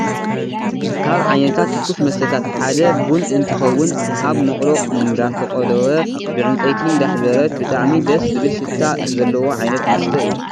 ካብ ዓይነታት ትኩስ መስተታት ሓደ ቡን እትከውን ኣብ መቅሎ እነዳተቆለወ ብዕንፀይቲ እንዳሕበረት ብጣዕሚ ደስ ዝብል ሽታ ዘለዎ ዓይነት መስተ እዩ።